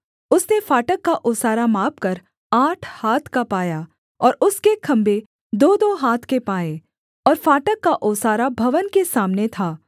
उसने फाटक का ओसारा मापकर आठ हाथ का पाया और उसके खम्भे दोदो हाथ के पाए और फाटक का ओसारा भवन के सामने था